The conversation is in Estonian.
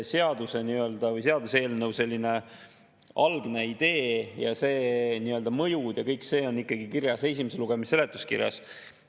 Seaduse või seaduseelnõu algne idee ja nii-öelda mõju ja kõik see on kirjas ikka esimese lugemise seletuskirjas.